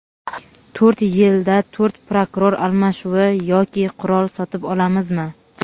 to‘rt yilda to‘rt prokuror almashuvi yoki "qurol sotib olamizmi?".